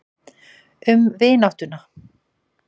Um vináttuna.